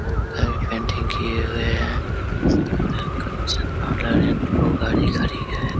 Painting की गई है। दो गाड़ी खड़ी है।